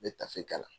N bɛ tafe kala